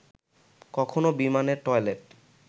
কখনো বিমানের টয়লেট